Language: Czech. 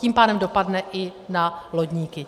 Tím pádem dopadne i na lodníky.